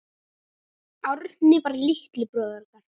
Árni var litli bróðir okkar.